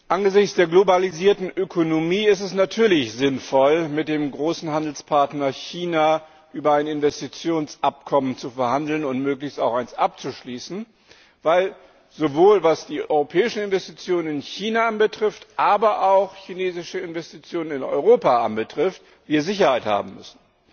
Angesichts der globalisierten Ökonomie ist es natürlich sinnvoll, mit dem großen Handelspartner China über ein Investitionsabkommen zu verhandeln und möglichst auch eines abzuschließen, weil wir, sowohl was die europäischen Investitionen in China anbetrifft, aber auch was chinesische Investitionen in Europa anbetrifft, Sicherheit haben müssen.